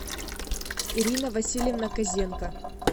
ирина васильевна козенко